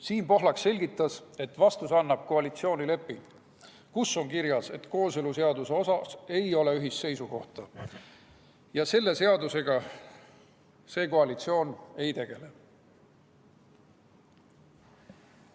Siim Pohlak selgitas, et vastuse annab koalitsioonileping, kus on kirjas, et kooseluseaduse suhtes ei ole ühist seisukohta ja selle seadusega see koalitsioon ei tegele.